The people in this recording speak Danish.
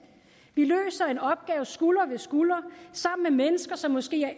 vi løser en opgave skulder ved skulder sammen med mennesker som måske er